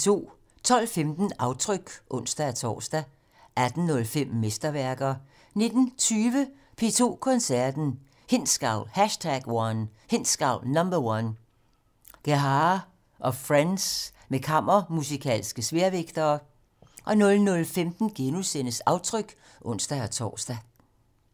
12:15: Aftryk (ons-tor) 18:05: Mesterværker 19:20: P2 Koncerten - Hindsgavl #1 - Gerhaher & friends med kammermusikalske sværvægtere 00:15: Aftryk *(ons-tor)